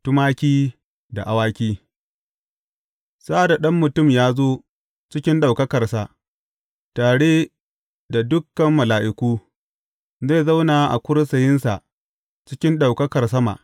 Tumaki da awaki Sa’ad da Ɗan Mutum ya zo cikin ɗaukakarsa, tare da dukan mala’iku, zai zauna a kursiyinsa cikin ɗaukakar sama.